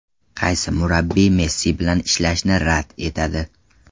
Qaysi murabbiy Messi bilan ishlashni rad etadi?